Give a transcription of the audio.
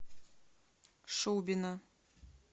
шубина